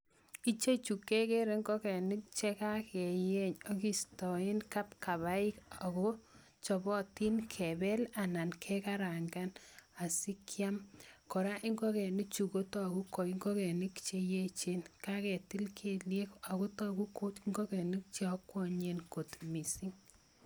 Ichechu kekere ing'okenik chekakeyeny akistoen kapkabaik ak ko chobotin kebel anan kekarang'an asikiam, kora ing'okenichu kotoku ko ing'okenik cheyechen, kaketil kelyek ak ko tokuu ko ing'okenik cheokwoenyen kot mising.